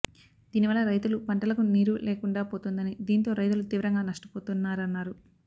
దీనివల్ల రైతులు పంటలకు నీరు లేకుండా పోతుందని దీంతో రైతులు తీవ్రంగా నష్టపోతున్నారన్నారు